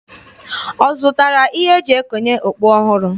Ọ zụtara ihe e ji ekonye okpu ọhụrụ?